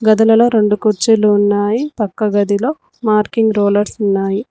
గదులలో రెండు కుర్చీలు ఉన్నాయి పక్క గదిలో మార్కింగ్ రోలర్స్ ఉన్నాయి.